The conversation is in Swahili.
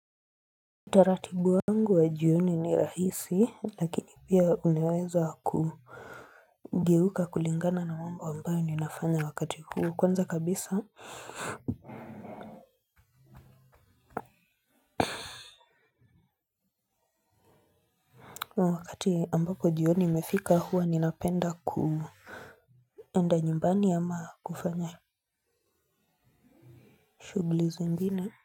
Utaratibu wangu wa jioni ni rahisi lakini pia uneweza kugeuka kulingana na mambo ambayo ninafanya wakati huu. Kwanza kabisa. Wakati ambapo jioni imefika huwa ninapenda kuenda nyumbani ama kufanya shughli zingine.